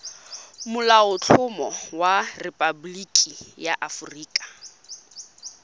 molaotlhomo wa rephaboliki ya aforika